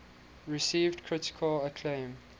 received critical acclaim